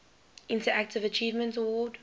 interactive achievement award